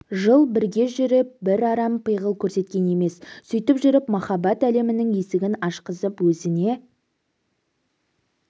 жыл бірге жүріп бір арам пиғыл көрсеткен емес сөйтіп жүріп махаббат әлемінің есігін ашқызып өзіне